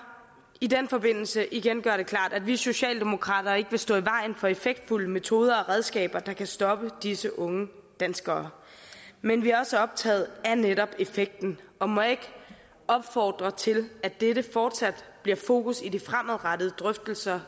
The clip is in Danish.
i den forbindelse igen gøre det klart at vi socialdemokrater ikke vil stå i vejen for effektfulde metoder og redskaber der kan stoppe disse unge danskere men vi er også optaget af netop effekten og må jeg ikke opfordre til at dette fortsat bliver fokus i de fremadrettede drøftelser